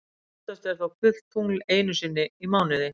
Oftast er þó fullt tungl einu sinni í mánuði.